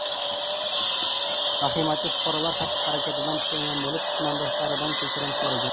Vahimachi fuqarolar xatti-harakatidan pushaymon bo‘lib, tumandoshlaridan kechirim so‘ragan.